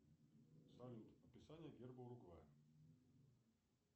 салют описание герба уругвая